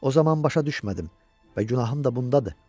O zaman başa düşmədim və günahım da bundadır.